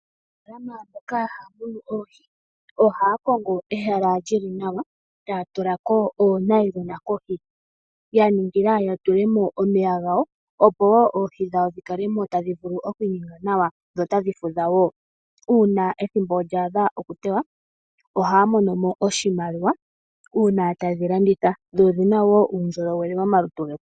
Aanafalama mboka haya munu oohi ohaya kongo ehala lyili nawa etaya tulako oonayilona kohi ya ningila ya tulemo omeya gawo opowo oohi dhawo dhikalemo tadhi vulu okwinyenga nawa dho tadhi fudhawo uuna ethimbo lyaadha okutewa ohaya monomo oshimaliwa uuna tayedhi landitha dho odhinawo uundjolowele momalutu getu.